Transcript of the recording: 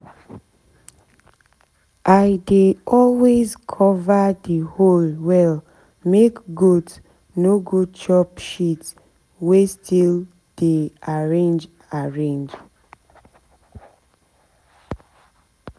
i dey always cover the hole well make goat no go chop shit wey still dey arrange arrange